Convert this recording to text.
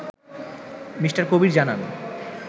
Me. Kabir জানান